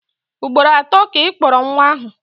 Ugboro atọ ka Ị kpọrọ nwa ahụ.